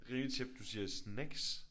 Rimeligt tjept du siger snacks